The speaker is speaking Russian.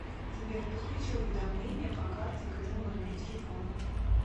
сбер подключи уведомления по карте к этому номеру телефона